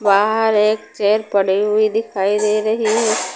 बाहर एक चेयर पड़े हुई दिखाई दे रही है।